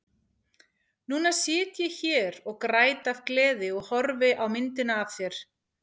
Núna sit ég hér og græt af gleði og horfi á myndina af þér.